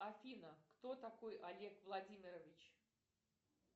афина кто такой олег владимирович